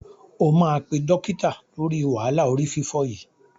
O máa pé dọ́kítà lóri wàhálà orí fífọ́ yìí.